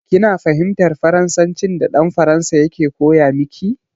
Kina fahimtar Faransancin da dan Faransan yake koya miki?